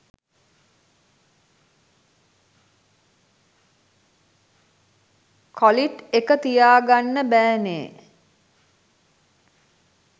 කොලිට් එක තියාගන්න බෑනේ.